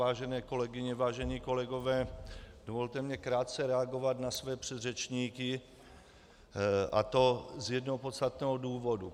Vážené kolegyně, vážení kolegové, dovolte mi krátce reagovat na své předřečníky, a to z jednoho podstatného důvodu.